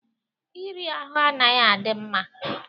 Iri ahụ anaghi adị mma.